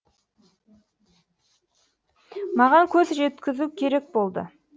маған көз жеткізу керек болды